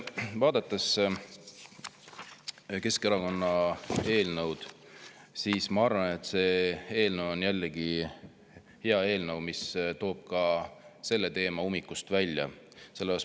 Vaadates Keskerakonna eelnõu, ma arvan, et see eelnõu on jällegi hea eelnõu, mis toob ka selle teema ummikust välja.